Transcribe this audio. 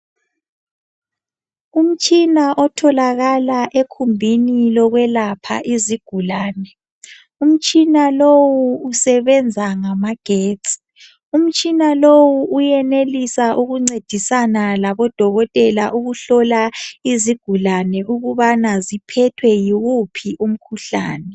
Umtshina otholakala ekhumbini lokwelapha izigulane. Umtshina lowu usebenza ngamagetsi. Umtshina lowu uyenelisa ukuncedisana labodokotela ukuhlola izigulane ukubana ziphethwe yiwuphi umkhuhlane